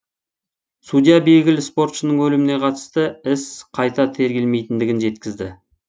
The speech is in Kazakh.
судья белгілі спортшының өліміне қатысты іс қайта тергелмейтіндігін жеткізді